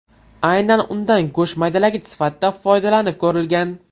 Aynan undan go‘sht maydalagich sifatida foydalanib ko‘rilgan.